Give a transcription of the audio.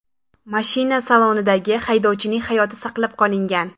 Mashina salonidagi haydovchining hayoti saqlab qolingan.